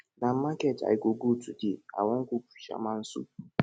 na market i go go today i wan cook fisherman soup